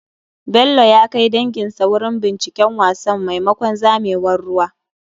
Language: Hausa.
Bello ya kai danginsa wurin binciken wasan maimakon zamewar ruwa.